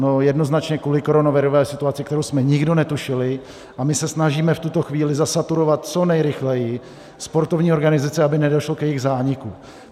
No jednoznačně kvůli koronavirové situaci, kterou jsme nikdo netušili, a my se snažíme v tuto chvíli zasaturovat co nejrychleji sportovní organizace, aby nedošlo k jejich zániku.